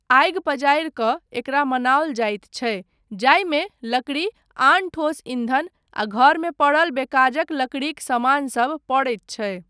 आगि पजारि कऽ एकरा मनाओल जाइत छै जाहिमे लकड़ी, आन ठोस ईंधन आ घरमे पड़ल बेकाजक लकड़ीक समानसब पड़ैत छै।